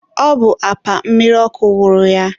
ọ bụ apa mmiri ọkụ wụrụ ya.